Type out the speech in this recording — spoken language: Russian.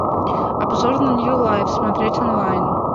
обзор на нью лайф смотреть онлайн